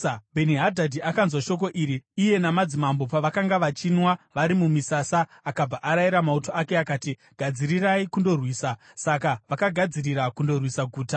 Bheni-Hadhadhi akanzwa shoko iri iye namadzimambo pavakanga vachinwa vari mumisasa, akabva arayira mauto ake akati, “Gadzirirai kundorwisa.” Saka vakagadzirira kundorwisa guta.